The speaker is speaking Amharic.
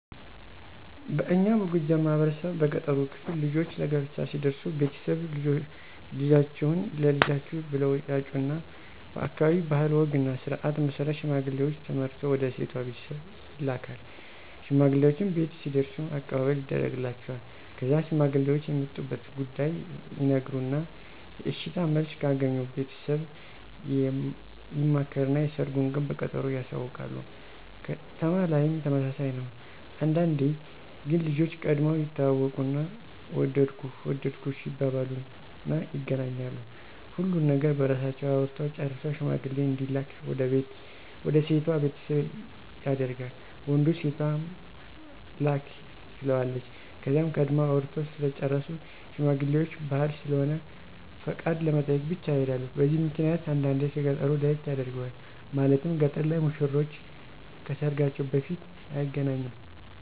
በእኛ በጎጃም ማህበረሰብ በገጠሩ ክፍል ልጆች ለጋብቻ ሲደርሱ ቤተሰብ፣ ልጃችሁን ለልጃችን ብለው ያጩና በአካባቢው ባህል ወግና ስርዓት መሰረት ሽማግሌውች ተመርጠው ወደ ሴቷ ቤተሰብ ይላካል። ሽማግሌውች ቤት ሲደርሱም አቀባበል ይደርግላቸዋል። ከዛ ሽማግሌውች የመጡበትን ጉዳይ ይናገሩና የእሽታ መልስ ከአገኙ ቤተሰብ ይማከርና የሰርጉን ቀን በቀጠሮ ያሳውቃሉ። ከተማ ላይም ተመሳሳይ ነው። አንዳንዴ ግን ልጆች ቀድመው ይተዋወቁና ወደድኩህ ወደድኩሽ ይባባሉና ይገናኛሉ። ሁሉን ነገር በራሳቸው አውርተው ጨርሰው ሽማግሌ እንዲላክ ወደ ሴቷ ቤተሰብ ያደርጋል ወንዱ ሴቷም ላክ ትለዋለች። ከዛም ቀድመው አውርተው ስለጨረሱ ሽማግሌውች ባህል ስለሆነ ፍቃድ ለመጠየቅ ብቻ ይሔዳሉ። በዚህ ምክንያት አንዳንዴ ከ ገጠሩ ለየት ያደርገዋል። ማለትም ገጠር ላይ ሙሽሮች ከሰርጋቸው በፊት አይገናኙም።